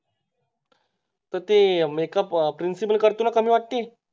तर ते Makeup principal करतो ना कमी वाटते